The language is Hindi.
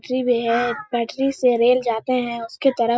पटरी पे है। पटरी से रेल जाते हैं उसके तरफ।